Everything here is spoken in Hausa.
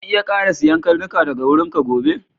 Zan iya ƙara siyan karnuka daga wurinka gobe?